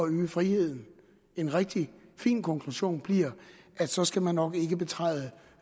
øge friheden en rigtig fin konklusion bliver at så skal man nok ikke betræde